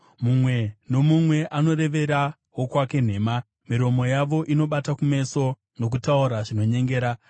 Mumwe nomumwe anorevera wokwake nhema; miromo yavo inobata kumeso nokutaura zvinonyengera.